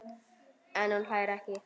En hún hlær ekki.